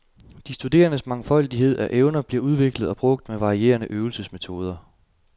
De studerendes mangfoldighed af evner bliver udviklet og brugt med varierende øvelsesmetoder.